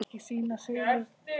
Gerði allt með stæl.